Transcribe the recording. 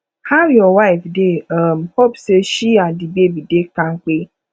how your wife dey um hope sey she and di baby dey kampe